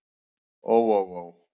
Ó ó ó.